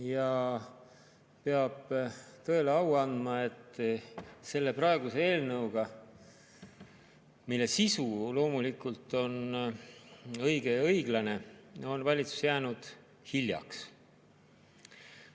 Ja peab tõele au andma, et selle praeguse eelnõuga, mille sisu on loomulikult õige ja õiglane, on valitsus jäänud hiljaks.